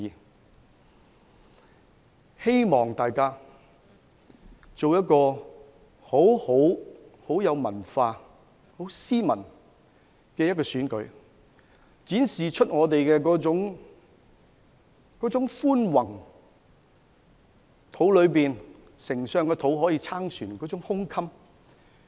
我希望大家能夠有一個很有文化、很斯文的選舉，並展現出我們的寬宏，那種"宰相肚裏能撐船"的胸襟。